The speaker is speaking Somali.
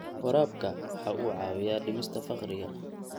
Waraabku waxa uu caawiyaa dhimista faqriga.